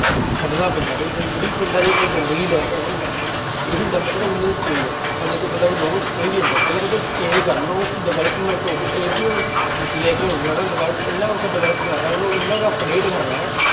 ਛੱਡਣਾ ਪੈਂਦਾ ਬਈ ਜ ਜਿਹੜੀ ਪਿੰਡਾਂ ਦੀ ਆਪਣੀ ਗੰਦਗੀ ਲੈ ਕੇ ਇਹੀ ਹੁੰਦਾ ਪਹਿਲਾਂ change ਹੁਣ ਦੇਖੋ ਤੁਹਾਡਾ ਕੋਈ ਵੀ ਹੁੰਦਾ ਪਹਿਲਾਂ ਤੁਹਾਡਾ change ਕਰਨਾ ਉਹ ਚ development ਉਹ ਇਹ ਜਿਹੀ ਲੈ ਕੇ ਆਓ ਹਨਾ develop ਇੰਨਾ ਕੁ develop ਕਰਨਾ ਉਹਨੂੰ ਇੰਨਾ ਕੁ update ਕਰਨਾ ਹੈ